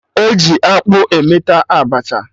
E ji akpụ emeta Abacha